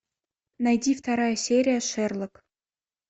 найди вторая серия шерлок